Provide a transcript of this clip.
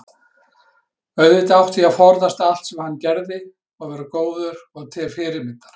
auðvitað átti ég að forðast allt sem hann gerði og vera góður og til fyrirmyndar.